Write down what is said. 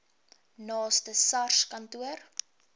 naaste sars kantoor